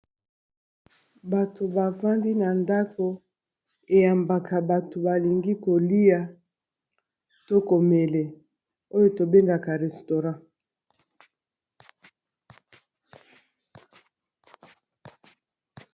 Bato. bafandi na ndako eyambaka bato balingi kolia to komele oyo tobengaka restaurant .